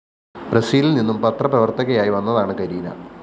ബ്രസീലില്‍നിന്നും പത്രപ്രവര്‍ത്തകയായി വന്നതാണ് കരീന